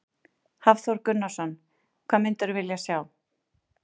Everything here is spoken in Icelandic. Hafþór Gunnarsson: Hvað mundirðu vilja sjá?